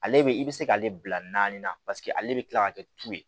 Ale bɛ i bɛ se k'ale bila naani na paseke ale bɛ kila ka kɛ tu ye